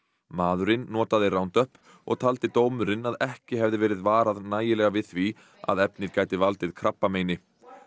maðurinn notaði og taldi dómurinn að ekki hefði verið varað nægilega við því að efnið gæti valdið krabbameini